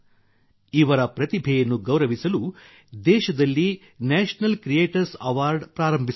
ಇವರ ಪ್ರತಿಭೆಯನ್ನು ಗೌರವಿಸಲು ದೇಶದಲ್ಲಿ ನ್ಯಾಷನಲ್ ಕ್ರಿಯೇಟರ್ಸ್ ಅವಾರ್ಡ್ ಪ್ರಾರಂಭಿಸಲಾಗಿದೆ